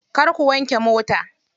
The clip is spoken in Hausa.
Kar ku wanke mota.